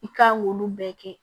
I kan k'olu bɛɛ kɛ